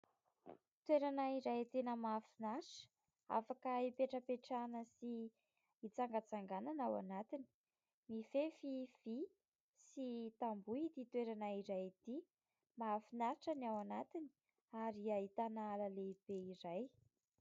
Toerana iray tena mahafinatra afaka ipetrapetrahana sy itsangatsanganana ao anatiny; mifefy vy sy tamboho ity toerana iray ity. Mahafinatra ny ao anatiny ary ahitana ala lehibe iray.